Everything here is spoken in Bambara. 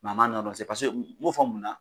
Maa ma nɔ dɔn me'o fɔ mun na